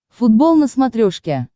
футбол на смотрешке